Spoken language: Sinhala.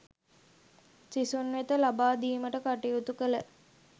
සිසුන් වෙත ලබාදීමට කටයුතු කළ